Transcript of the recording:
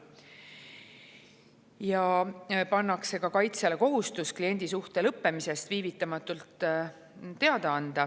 Samuti pannakse kaitsjale kohustus kliendisuhte lõppemisest viivitamatult teada anda.